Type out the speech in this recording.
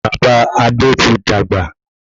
Bàbá Adé ti dàgbà